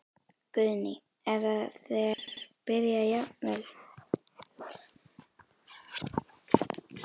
Guðný: Er það þegar byrjað jafnvel?